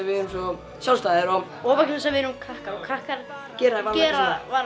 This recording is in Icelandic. við erum svo sjálfstæðir og vegna þess að við erum krakkar og krakkar gera gera